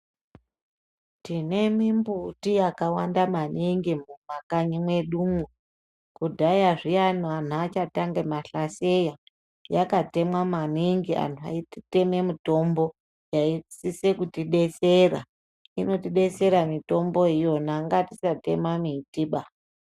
Tine mumbiti yakawanda maningi mumakanyi medu umu kudhaya zviyayi vantu vachatanga mahlaseya yakatemwa maningi vantu veitema mutombo yaisisa kutibetsera inotibetsera mitombo yona ngatisatema mumbiti ba.